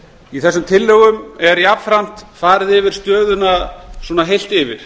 í þessum tillögum er jafnframt farið yfir stöðuna svona heilt yfir